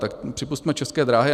Tak připusťme České dráhy.